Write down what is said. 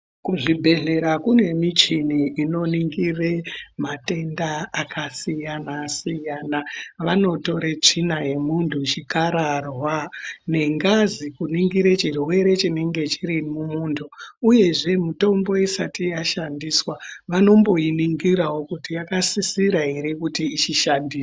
Kuzvibhedhlera kune michini inoningire matenda akasiyana siyana vanotore tsvina yomuntu , chikararwa nengazi kuningire chirwere chinenge chiri mumuntu uyezve mitombo isati yashandiswa vanomboiningirawo kuti yakasisira ere kuti ichishandiswa.